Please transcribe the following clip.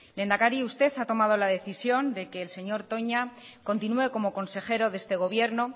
lehendakari usted ha tomado la decisión de que el señor toña continúe como consejero de este gobierno